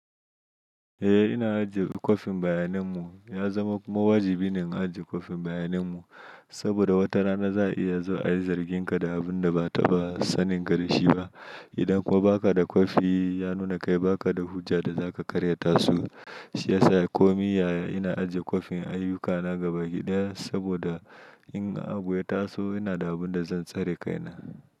Eh ina ajiye kwafin bayanin mu, ya zama kuma wajibi ne in ajiye kwafin bayanin mu, saboda wata rana za a iya zo ayi zargin ka da abun da ba'a ta ba sanin kadashi ba. Idan kuma ba ka da kwafi ya nuna kai ba ka da hujja da za ka karya tasu. Shi ya sa ko miyaya ina ajiye kwafin ayyukana gabaki ɗaya saboda in a abu taso ina da abun da zan tsare kaina.